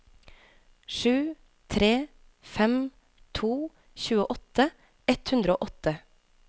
sju tre fem to tjueåtte ett hundre og åtte